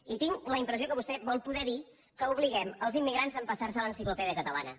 i tinc la impressió que vostè vol poder dir que obliguem els im·migrants a empassar·se l’enciclopèdia catalana